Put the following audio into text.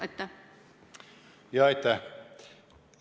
Aitäh!